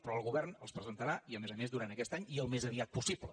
però el govern els presentarà i a més a més durant aquest any i al més aviat possible